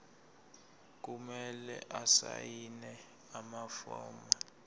kumele asayine amafomu